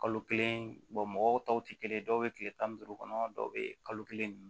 Kalo kelen mɔgɔw tɔw tɛ kelen ye dɔw bɛ tile tan ni duuru kɔnɔ dɔw bɛ kalo kelen